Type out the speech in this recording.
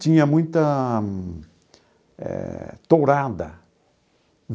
Tinha muita eh tourada.